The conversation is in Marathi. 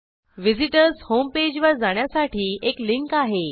व्हिझिटर्स होम पेज वर जाण्यासाठी एक लिंक आहे